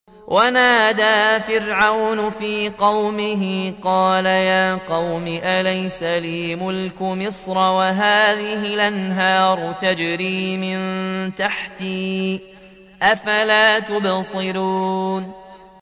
وَنَادَىٰ فِرْعَوْنُ فِي قَوْمِهِ قَالَ يَا قَوْمِ أَلَيْسَ لِي مُلْكُ مِصْرَ وَهَٰذِهِ الْأَنْهَارُ تَجْرِي مِن تَحْتِي ۖ أَفَلَا تُبْصِرُونَ